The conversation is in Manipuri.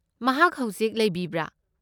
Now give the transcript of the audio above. ꯃꯍꯥꯛ ꯍꯧꯖꯤꯛ ꯂꯩꯕꯤꯕ꯭ꯔꯥ?